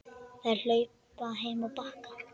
Þær hlupu heim á Bakka.